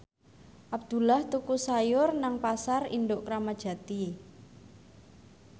Abdullah tuku sayur nang Pasar Induk Kramat Jati